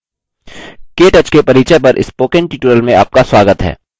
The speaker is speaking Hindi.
केटच ktouch के परिचय पर spoken tutorial में आपका स्वागत है